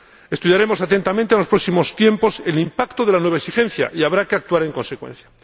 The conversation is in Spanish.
Estudiaremos atentamente en los próximos tiempos el impacto de la nueva exigencia, y habrá que actuar en consecuencia.